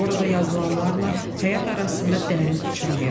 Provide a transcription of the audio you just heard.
Orada yazılanlarla həyat arasında dərin uçurum yaranıb.